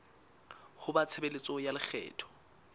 ho ba tshebeletso ya lekgetho